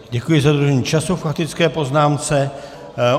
Děkuji za dodržení času k faktické poznámce.